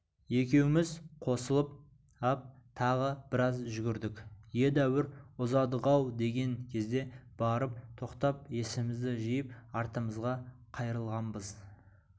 екеуміз қосылып ап тағы біраз жүгірдік едәуір ұзадық-ау деген кезде барып тоқтап есімізді жиып артымызға қайырылғанбыз